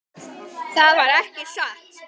Það var ekki satt.